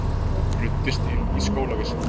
Ruddist inn í skólavist